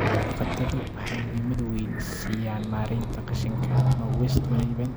Xoolo-dhaqatadu waxay muhiimad weyn siiyaan maaraynta qashinka ama waste management